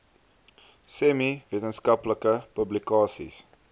semi wetenskaplike publikasies